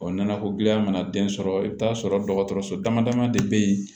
nɛnɛko gɛlɛya mana den sɔrɔ i bɛ t'a sɔrɔ dɔgɔtɔrɔso dama dama de bɛ yen